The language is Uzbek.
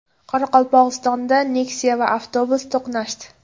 Qoraqalpog‘istonda Nexia va avtobus to‘qnashdi.